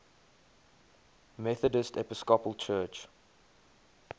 methodist episcopal church